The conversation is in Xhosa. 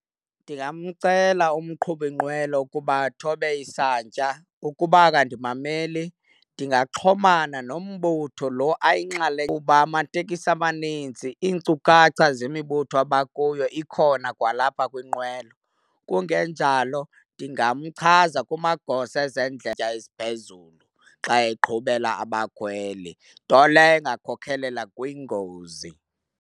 Ndingamcela umqhubinqwelo kuba athobe isantya. Ukuba akandimameli ndingaxhomana nombutho lo ayinxalenye kuba amateksi amanintsi iinkcukacha zemibutho abakuyo ikhona kwalapha kwinqwelo. Kungenjalo ndingamchaza kumagosa eziphezulu xa eqhubela abakhweli, nto leyo ingakhokhelela kwingozi.